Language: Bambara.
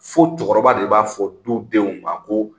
Fo cɛkɔrɔba de b'a fɔ du denw ma ko